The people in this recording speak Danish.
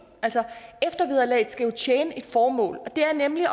eftervederlaget skal jo tjene et formål og det er nemlig